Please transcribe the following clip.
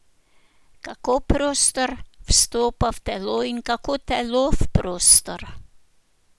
Kako prostor vstopa v telo in kako telo v prostor?